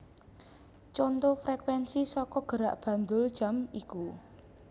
Conto Frekuensi saka gerak bandul jam iku